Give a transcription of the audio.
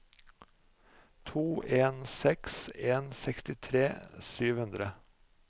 to en seks en sekstitre sju hundre